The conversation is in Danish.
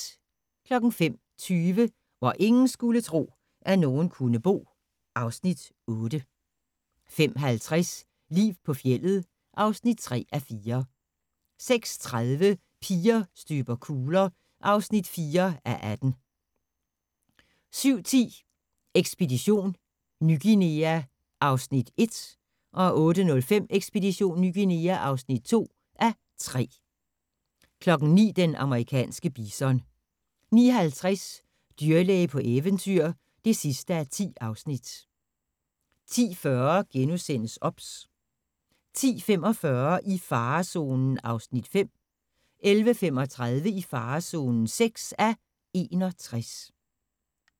05:20: Hvor ingen skulle tro, at nogen kunne bo (Afs. 8) 05:50: Liv på fjeldet (3:4) 06:30: Piger støber kugler (4:18) 07:10: Ekspedition Ny Guinea (1:3) 08:05: Ekspedition Ny Guinea (2:3) 09:00: Den amerikanske bison 09:50: Dyrlæge på eventyr (10:10) 10:40: OBS * 10:45: I farezonen (5:61) 11:35: I farezonen (6:61)